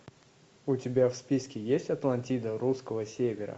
у тебя в списке есть атлантида русского севера